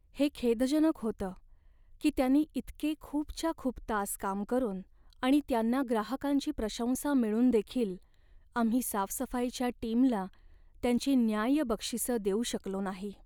हे खेदजनक होतं की त्यांनी इतके खूपच्या खूप तास काम करून आणि त्यांना ग्राहकांची प्रशंसा मिळूनदेखील, आम्ही साफसफाईच्या टीमला त्यांची न्याय्य बक्षिसं देऊ शकलो नाही.